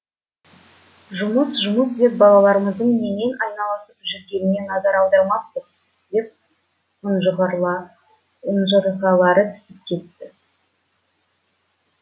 жұмыс жұмыс деп балаларымыздың немен айналысып жүргеніне назар аудармаппыз деп ұнжырғалары түсіп кетті